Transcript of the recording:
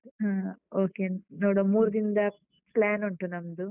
ಹ್ಮ್ okay ನೋಡ್ವಾ ಮೂರು ದಿನದ plan ಉಂಟು ನಮ್ದು.